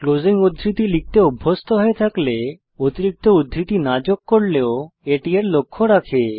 closing উদ্ধৃতি লিখতে অভ্যস্ত হয়ে থাকলে অতিরিক্ত উদ্ধৃতি না যোগ করলেও এটি এর লক্ষ্য রাখে